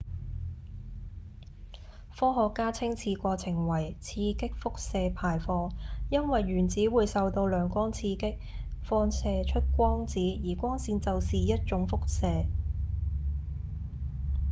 科學家稱此過程為「刺激輻射排放」因為原子會受到亮光刺激放射出光子而光線就是一種輻射